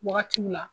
Wagatiw la